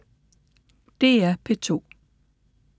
DR P2